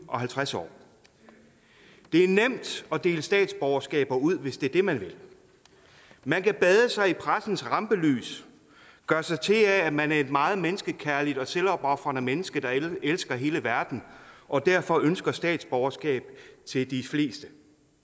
og halvtreds år det er nemt at dele statsborgerskaber ud hvis det er det man vil man kan bade sig i pressens rampelys gøre sig til af at man er et meget menneskekærligt og selvopofrende menneske der elsker hele verden og derfor ønsker statsborgerskab til de fleste